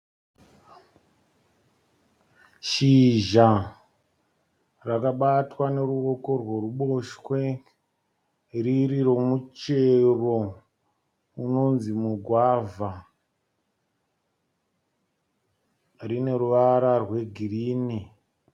Shizha rakabatwa neruoko rweruboshwe riri remuchero unonzi mugwavha. Rine ruvara rwegirinhi.